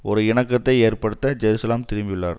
ஒரு இணக்கத்தை ஏற்படுத்த ஜெருசலம் திரும்பியுள்ளார்